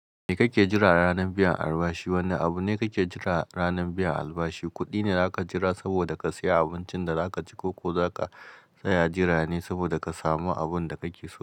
Me kake jira ranar biyan albashi? Wane abu ne kake jira ranar biyan albashi? Kuɗi ne za ka jira saboda ka saya abincin da za ka ci ko ko za ka tsaya jira ne saboda ka samu abun da kake so?